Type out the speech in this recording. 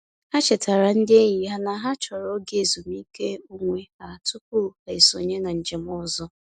Ha chetara ndị enyi ha na ha chọrọ oge ezumiike onwe ha tụpụ ha esonye na njem ọzọ.